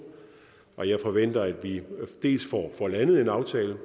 og jeg forventer at vi får landet en aftale